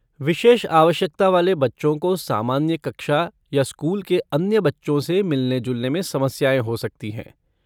विशेष आवश्यकता वाले बच्चों को सामान्य कक्षा या स्कूल के अन्य बच्चों से मिलने जुलने में समस्याएँ हो सकती हैं।